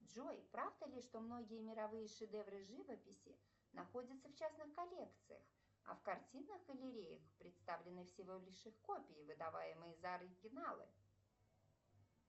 джой правда ли что многие мировые шедевры живописи находятся в частных коллекциях а в картинных галереях представлены всего лишь их копии выдаваемые за оригиналы